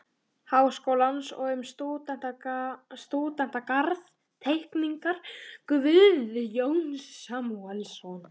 Háskólans og um stúdentagarð- Teikning Guðjóns Samúelssonar